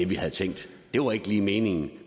vi havde tænkt det var ikke lige meningen